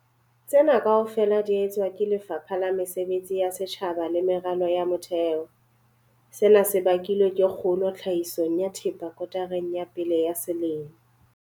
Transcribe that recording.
Tsena kaofela di etswa ke Lefapha la Mesebetsi ya Setjhaba le Meralo ya Motheo. Sena se bakilwe ke kgolo tlhahisong ya thepa kotareng ya pele ya selemo.